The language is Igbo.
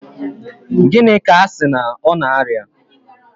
Gịnị ka asị na ọ na aria?